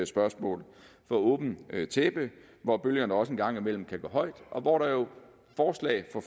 spørgsmål for åbent tæppe hvor bølgerne også en gang imellem kan gå højt og hvor der jo forslag for